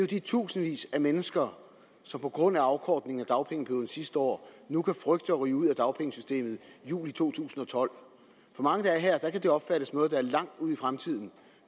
de tusindvis af mennesker som på grund af afkortningen af dagpengeperioden sidste år nu kan frygte at ryge ud af dagpengesystemet i juli to tusind og tolv for mange her kan det opfattes som noget der er langt ude i fremtiden